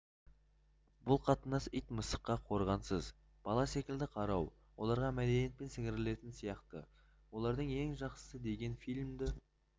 бұл қатынас ит-мысыққа қорғансыз бала секілді қарау оларға мәдениетпен сіңірілетін сияқты олардың ең жақсысы деген фильмді